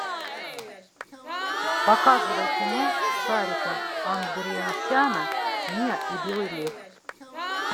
показывай кино сарика андреасяна миа и белый лев